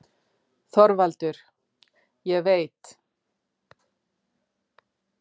ÞORVALDUR: Ég veit.